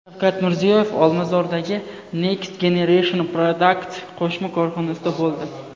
Shavkat Mirziyoyev Olmazordagi Next Generation Product qo‘shma korxonasida bo‘ldi.